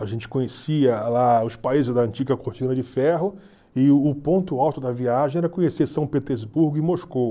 A gente conhecia lá os países da antiga cortina de ferro e o ponto alto da viagem era conhecer São Petersburgo e Moscou.